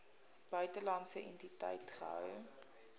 buitelandse entiteit gehou